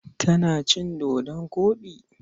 Kana cin dodon koɗi?